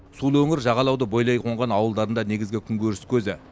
сулы өңір жағалауды бойлай қонған ауылдардың да негізгі күнкөріс көзі